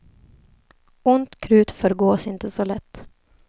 Ont krut förgås inte så lätt.